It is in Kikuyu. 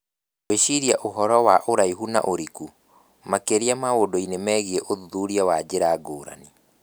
Gwĩciria ũhoro wa ũraihu na ũriku, makĩria maũndũ-inĩ megiĩ ũthuthuria wa njĩra ngũrani.